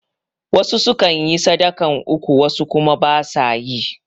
Wasu sukan yi sadakan uku wasu kuma ba su yi